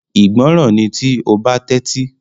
Ìgbọràn ni tí o ba Tẹ́tí